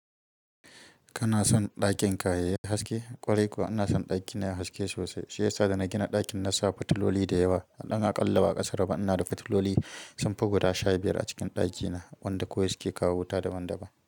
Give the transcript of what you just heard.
Kana son ɗakin ka yayi haske? Ƙwarai kuwa ina son ɗakina yayi haske sosai. Shi yasa da na gina ɗakin na sa fitiloli da yawa. Ɗan aƙalla ba, a ƙasar ba ina da fitiloli sun fi guda shabiyar a cikin ɗakina wanda kawai suke kawo wuta daban-daban.